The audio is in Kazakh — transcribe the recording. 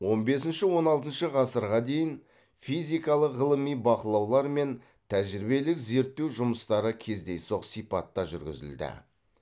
он бесінші он алтыншы ғасырға дейін физикалық ғылыми бақылаулар мен тәжірибелік зерттеу жұмыстары кездейсоқ сипатта жүргізілді